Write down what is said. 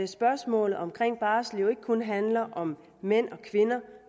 spørgsmålet om barsel jo ikke kun handler om mænd og kvinder